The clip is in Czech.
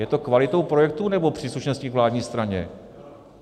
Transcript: Je to kvalitou projektů, nebo příslušenstvím k vládní straně?